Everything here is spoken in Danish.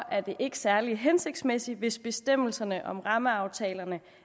er det ikke særlig hensigtsmæssigt hvis bestemmelserne om rammeaftalerne